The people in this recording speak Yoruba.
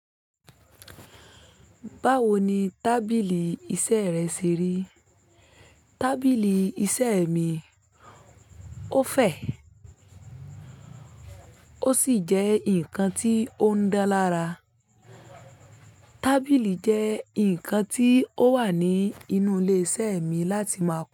Báwo ni tábìlì iṣẹ́ rẹ ṣe rí? Tábìlì iṣẹ́ mi ó fẹ̀, ó sì jẹ́ ǹkan tí ó ń dá lára. Tábìlì jẹ́ ǹkan tí ó wà ní inú ilé iṣẹ́ mi láti máa kọ́